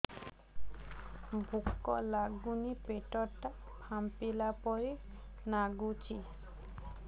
ଭୁକ ଲାଗୁନି ପେଟ ଟା ଫାମ୍ପିଲା ପରି ନାଗୁଚି